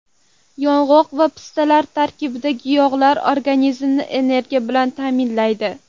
Yong‘oq va pistalar tarkibidagi yog‘lar organizmni energiya bilan ta’minlaydi.